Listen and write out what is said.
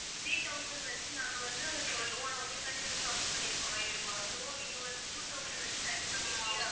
three thousand வெச்சு நாங்க வந்து சொல்லுவோம் ஆனா உங்களுக்காண்டி நாங்க submit பண்ணியிருக்கோம் so நீங்க வந்து two thousand வெச்சி நீங்க கண்டிப்பா காட்டியே ஆகணும்